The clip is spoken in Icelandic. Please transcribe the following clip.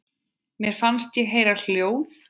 Mér fannst ég heyra hljóð.